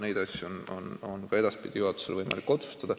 Neid asju on ka edaspidi juhatusel võimalik otsustada.